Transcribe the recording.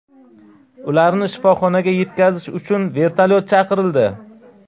Ularni shifoxonaga yetkazish uchun vertolyot chaqirildi.